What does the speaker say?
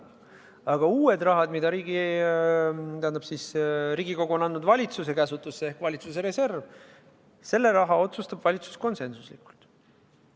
Aga uued summad, mida Riigikogu on andnud valitsuse käsutusse, ehk valitsuse reserv, selle raha üle otsustab valitsus konsensuslikult.